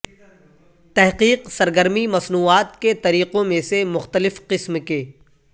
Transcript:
تحقیق سرگرمی مصنوعات کے طریقوں میں سے مختلف قسم کے